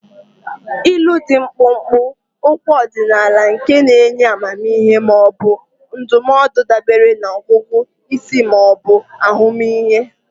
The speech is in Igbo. Ilu dị mkpụmkpụ, okwu ọdịnala nke na-enye amamihe ma ọ bụ ndụmọdụ dabere na ọgụgụ isi ma ọ bụ ahụmịhe.